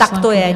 Tak to je!